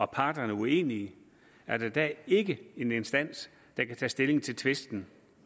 parterne uenige er der i dag ikke en instans der kan tage stilling til tvisten